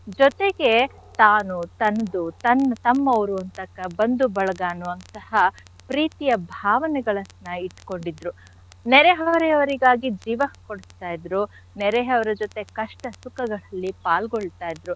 ಜೊತೆಗೆ, ತಾನು ತನ್ದು ತನ್~ ತಮ್ಮವ್ರು ಅಂತ ಕ~ ಬಂಧು ಬಳಗ ಅನ್ನುವಂತಹ ಪ್ರೀತಿಯ ಭಾವನೆಗಳನ್ನ ಇಟ್ಕೊಂಡಿದ್ರು. ನೆರೆ ಹೊರೆಯವರಿಗಾಗಿ ಜೀವ ಕೊಡ್ತಾ ಇದ್ರು. ನೆರೆಯವರ ಜೊತೆ ಕಷ್ಟ ಸುಖಗಳಲ್ಲಿ ಪಾಲ್ಗೊಳ್ತಾ ಇದ್ರು.